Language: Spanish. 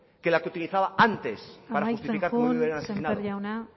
que la que utilizaba antes para justificar que a mí me hubieran asesinado amaitzen joan sémper jauna